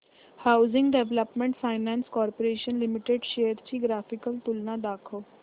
housing development finance corporation limited shares ची graphical तुलना दाखव